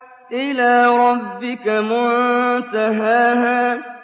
إِلَىٰ رَبِّكَ مُنتَهَاهَا